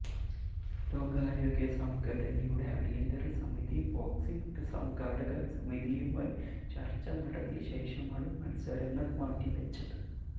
ലോകാരോഗ്യ സംഘടനയുടെ അടിയന്തര സമിതി ബോക്സിങ് സംഘാടക സമിതിയുമായി ചര്ച്ച നടത്തിയ ശേഷമാണു മത്സരങ്ങള് മാറ്റിവച്ചത്